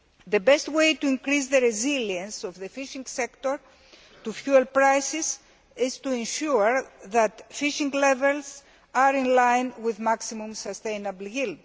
The best way to increase the resilience of the fisheries sector to fuel prices is to ensure that fishing levels are in line with maximum sustainable yield.